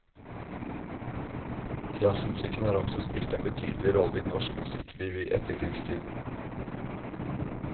Jazzmusikken har også spilt en betydelig rolle i norsk musikkliv i etterkrigstiden.